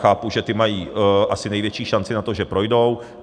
Chápu, že ty mají asi největší šanci na to, že projdou.